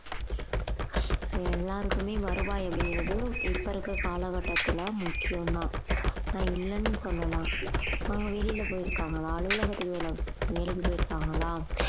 எல்லாருக்குமே வருவாய் அப்படிங்கிறது இப்ப இருக்குற கால கட்டத்துல முக்கியம் தான் நான் இல்லேன்னு சொல்லல அவங்க வெளியில போயிருக்காங்களா அலுவலகத்துக்கு வேலை~ வேலைக்கு போயிருக்காங்களா